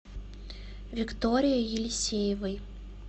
викторией елисеевой